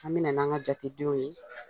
An bi na n'an ka jatedenw ye